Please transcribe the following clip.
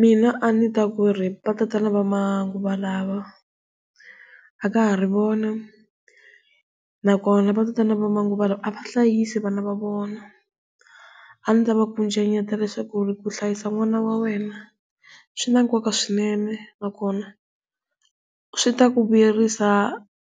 Mina a ndzi ta ku ri va tatana va manguva lawa a ka ha ri vona na kona va tatana va manguva lawa a va hlayisi vana va vona, a ndzi ta va kucetela leswaku ku hlayisa n'wana wa wena swi na nkoka swinene na kona swi ta ku vuyerisa